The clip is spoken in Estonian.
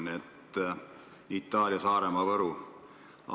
Nii et Itaalia–Saaremaa–Võru.